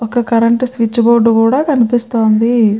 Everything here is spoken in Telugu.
ఒక కరెంట్ స్విచ్ బోర్డు కూడా కనిపిస్తూ వుంది.